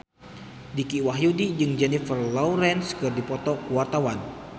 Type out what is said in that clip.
Dicky Wahyudi jeung Jennifer Lawrence keur dipoto ku wartawan